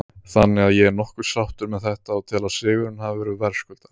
Þannig að ég er nokkuð sáttur með þetta og tel að sigurinn hafi verið verðskuldaður.